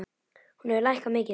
Hún hefur lækkað mikið.